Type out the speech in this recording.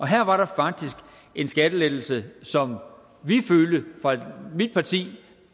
her var der faktisk en skattelettelse som vi i mit parti